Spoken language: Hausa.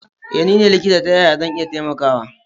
Eh nine likita ta yaya zan iya taimakawa.